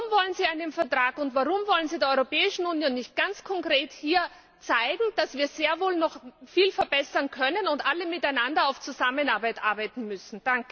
Warum wollen Sie einen Vertrag, und warum wollen Sie der Europäischen Union nicht ganz konkret hier zeigen, dass wir sehr wohl noch viel verbessern können und alle miteinander auf Zusammenarbeit hinarbeiten müssen?